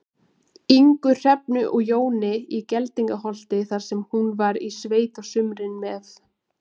Ingu, Hrefnu og Jóni í Geldingaholti, þar sem hún var í sveit á sumrin með